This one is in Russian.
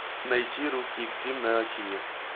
найти русский экстрим на тиви